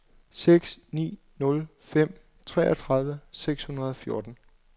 seks ni nul fem treogtredive seks hundrede og fjorten